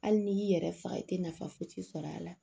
Hali n'i y'i yɛrɛ faga i tɛ nafa foyi siri a la